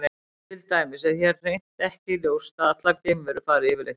Til dæmis er hér hreint ekki ljóst að allar geimverur fari yfirleitt í sturtu.